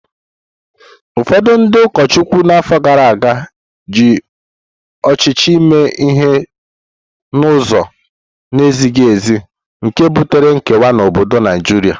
Ụfọdụ ndị ụkọchukwu na afọ gara aga ji ọchịchị mee ihe n’ụzọ na-ezighị ezi, nke butere nkewa n’obodo Naijiria.